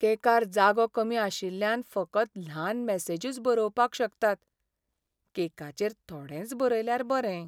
केकार जागो कमी आशिल्ल्यान फकत ल्हान मॅसेजूच बरोवपाक शकतात. केकाचेर थोडेंच बरयल्यार बरें.